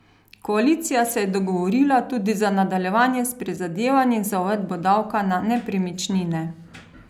Koalicija se je dogovorila tudi za nadaljevanje s prizadevanji za uvedbo davka na nepremičnine.